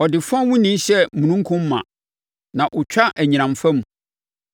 Ɔde fɔnwuni hyɛ omununkum ma; na ɔtwa nʼanyinam fa mu.